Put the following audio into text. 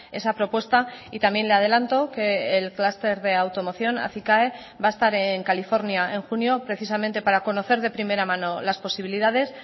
esa propuesta y también le adelanto que el clúster de automoción acicae va a estar en california en junio precisamente para conocer de primera mano las posibilidades